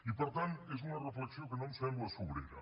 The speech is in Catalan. i per tant és una reflexió que no em sembla sobrera